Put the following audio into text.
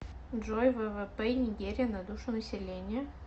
джой ввп нигерия на душу населения